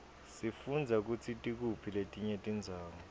sifundza kutsi tikuphi letinye tindzawo